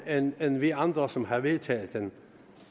end end vi andre som har vedtaget den